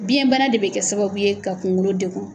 Biɲɛ bana de bɛ kɛ sababu ye ka kunkolo dekun.